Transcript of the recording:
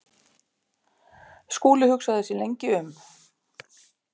Skúli hugsaði sig lengi um.